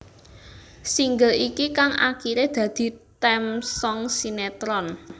Single iki kang akiré dadi theme song sinetron